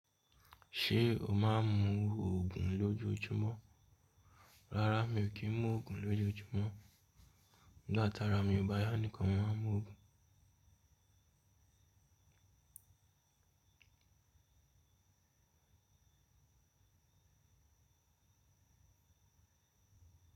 Ṣé o máa ń mu ògùn lójoojúmọ́? Rárá mi ò kí ń mu ògùn lójoojúmọ́, nígbà tara mi ò bá yá nìkan mó máa ń mu ògùn.